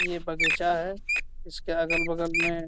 ये बगीचा है। इसके अगल-बगल में --